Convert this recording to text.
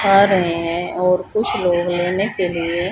आ रहे हैं और कुछ लोग लेने के लिए--